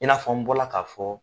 I n'a fɔ n bɔra k'a fɔ.